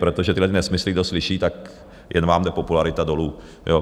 Protože tyhlety nesmysly kdo slyší, tak jen vám jde popularita dolů.